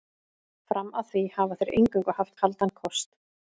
Fram að því hafa þeir eingöngu haft kaldan kost.